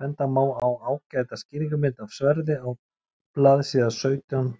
benda má á ágæta skýringarmynd af sverði á blaðsíða sautján